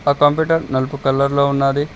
ఆ కంప్యూటర్ నలుపు కలర్ లో ఉన్నాది.